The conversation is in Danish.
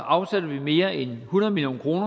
afsætter vi mere end hundrede million kroner